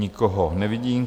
Nikoho nevidím.